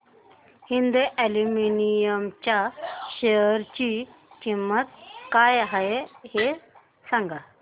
Hind aluminium च्या share ची किंमत काय आहे हे सांगा